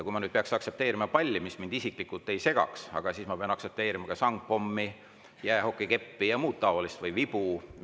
Kui ma nüüd peaksin aktsepteerima seda palli, mis mind isiklikult ei sega, siis ma peaksin aktsepteerima ka sangpommi, jäähokikeppi ja muud taolist, näiteks vibu.